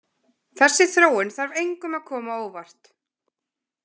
Þessi þróun þarf engum að koma á óvart.